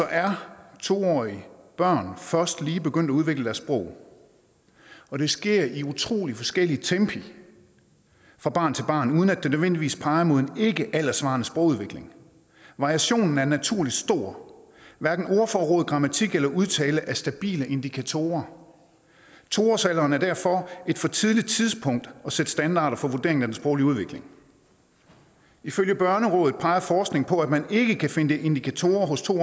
er to årige børn først lige begyndt at udvikle deres sprog og det sker i utrolig forskellige tempi fra barn til barn uden at det nødvendigvis peger mod en ikkealderssvarende sprogudvikling variationen er naturligt stor hverken ordforråd grammatik eller udtale er stabile indikatorer to års alderen er derfor et for tidligt tidspunkt at sætte standarder for vurderingen af den sproglige udvikling ifølge børnerådet peger forskning på at man ikke kan finde indikatorer hos to